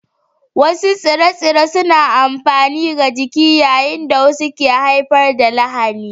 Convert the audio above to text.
Wasu tsire-tsire suna da amfani ga jiki yayin da wasu ke haifar da lahani